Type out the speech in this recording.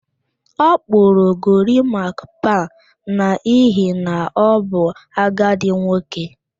Ọ kpụrụ gorimakpa n'ihi na ọ bụ agadi nwoke